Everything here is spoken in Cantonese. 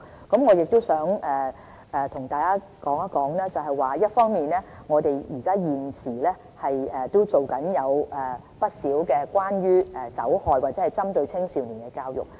我亦想和大家談談，一方面，我們現時正進行不少關於酒害或青少年的教育。